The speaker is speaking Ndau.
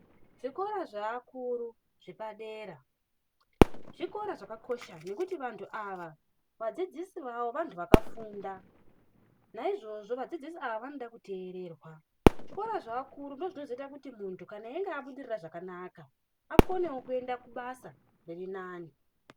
Zvikora zvaakuru zvepadera, zvikora zvakakosha nekuti vanhu ava vadzidzisi vavo vantu vakafunda. Naizvozvo vadzidzisi ava vanode kuteererwa. Zvikora zvevakuru ndozvinozoita kuti muntu kana inge abudirira zvakanaka akonewo kuenda kubasa riri nani.